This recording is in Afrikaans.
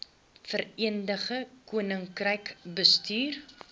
verenigde koninkryk bestuur